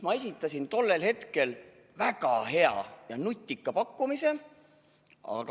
Ma esitasin tollel hetkel väga hea ja nutika pakkumise.